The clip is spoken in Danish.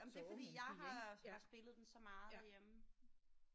Jamen det er fordi jeg har spillet den så meget derhjemme